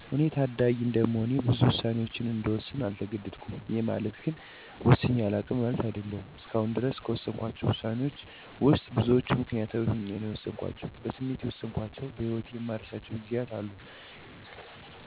እኔ ታዳጊ እንደመሆኔ ብዙ ውሳኔወችን እንድወስን አልተገደድኩም። ይሄ ማለት ግን ወስኘ አላውቅም ማለት አይደለም። እስከአሁን ድረስ ከወሰንኳቸው ውሳኔወች ውስጥ ብዙወቹን ምክንያታዊ ሆኘ ነው የወሰንኳቸው። በስሜት የወሰንኳቸው በህወቴ የማረሳቸው ጊዜያቶች አሉ። የሰው ምክርም ሰምቼ የወሰንኳቸው ውሳኔወች አሉ። በጣም ጥሩ የምላቸው ውሳኔወች የወሰንኩት ግን ምክንያታዊ ሆኜ የወሰንኳቸው ናቸው።